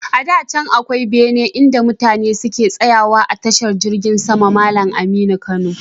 Da can akwai bene inda mutane suke tsawa a tashar jirgin sama Malam Aminu Kano.